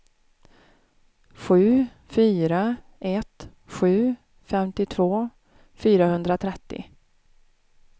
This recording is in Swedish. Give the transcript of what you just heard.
sju fyra ett sju femtiotvå fyrahundratrettio